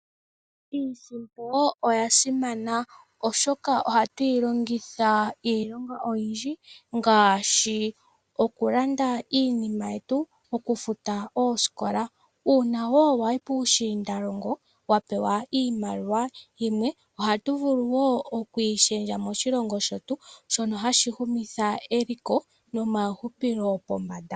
Iisimpo oya simana oshoka ohatuyi longitha iilonga oyindji ngaashi okulanda iinima yetu okufuta oosikola . Uuna woo wayi puu shiindalongo wa pewa iimaliwa yimwe ohatu vulu woo oku yi shendja moshilongo shetu shono hashi humitha eliko nomawuhupilo pombanda.